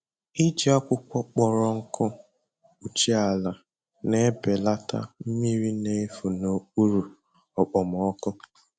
Iji akwụkwọ kpọrọ nkụ kpuchie ala na-ebelata mmiri na-efu n’okpuru okpomọkụ.